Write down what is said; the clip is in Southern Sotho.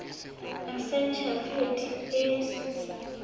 essential fatty acids